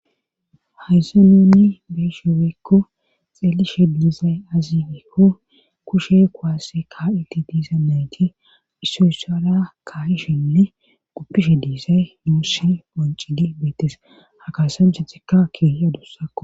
hayssa nuni beeshebeekko xeelishe diizay azigeekko kushe kuaasse ka7iti diisa meti issoyssara ka7ishenne guppishe diizay nuussi qoncidi beettes ha kasancha zikka kiiyadussakko